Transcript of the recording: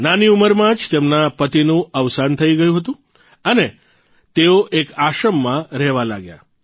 નાની ઉંમરમાં જ તેમના પતિનું અવસાન થઇ ગયું હતું અને તેઓ એક આશ્રમમાં રહેવા લાગ્યાં